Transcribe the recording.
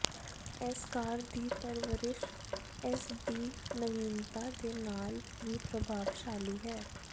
ਇਸ ਕਾਰ ਦੀ ਪਰਵਰਿਸ਼ ਇਸ ਦੀ ਨਵੀਨਤਾ ਦੇ ਨਾਲ ਵੀ ਪ੍ਰਭਾਵਸ਼ਾਲੀ ਹੈ